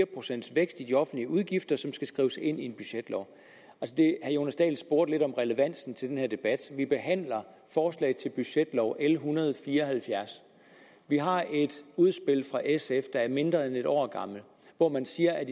procents vækst i de offentlige udgifter som skal skrives ind i en budgetlov herre jonas dahl spurgte lidt om relevansen til den her debat vi behandler forslag til budgetlov l en hundrede og fire og halvfjerds vi har et udspil fra sf der er mindre end et år gammelt hvor man siger at